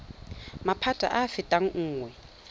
maphata a a fetang nngwe